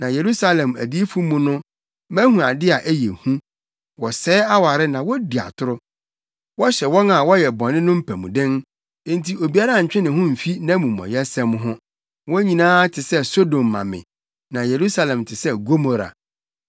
Na Yerusalem adiyifo mu no mahu ade a ɛyɛ hu: Wɔsɛe aware na wodi atoro. Wɔhyɛ wɔn a wɔyɛ bɔne no mpamuden, enti obiara ntwe ne ho mfi nʼamumɔyɛsɛm ho. Wɔn nyinaa te sɛ Sodom ma me; na Yerusalemfo te sɛ Gomora.”